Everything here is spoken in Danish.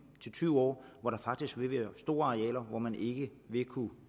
til tyve år hvor der faktisk vil være store arealer hvor man ikke vil kunne